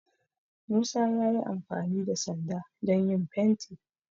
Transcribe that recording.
Musa ya yi amfani da sanda don yin fenti